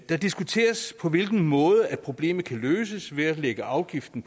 der diskuteres på hvilken måde problemet kan løses nemlig ved at lægge afgiften